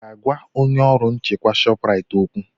Ị ga-agwa onye ọrụ nchekwa Shọpraịt okwu?